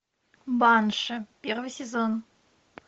банши первый сезон